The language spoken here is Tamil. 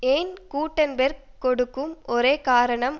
ஏன் கூட்டன்பேர்க் கொடுக்கும் ஒரே காரணம்